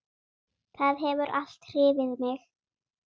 Það hefur alltaf hrifið mig.